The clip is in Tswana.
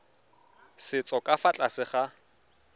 setso ka fa tlase ga